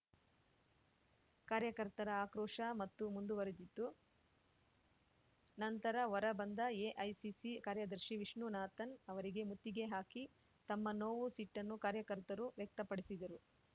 ಕಾರ್ಯಕರ್ತರ ಆಕ್ರೋಶ ಮತ್ತೂ ಮುಂದುವರಿದಿತ್ತು ನಂತರ ಹೊರ ಬಂದ ಎಐಸಿಸಿ ಕಾರ್ಯದರ್ಶಿ ವಿಷ್ಣುನಾಥನ್‌ ಅವರಿಗೆ ಮುತ್ತಿಗೆ ಹಾಕಿ ತಮ್ಮ ನೋವು ಸಿಟ್ಟನ್ನು ಕಾರ್ಯಕರ್ತರು ವ್ಯಕ್ತಪಡಿಸಿದರು